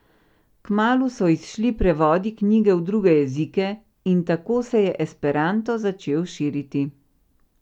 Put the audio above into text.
Kmalu so izšli prevodi knjige v druge jezike in tako se je esperanto začel širiti.